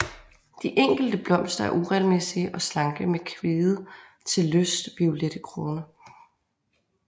De enkelte blomster er uregelmæssige og slanke med kvide til lyst violette kroner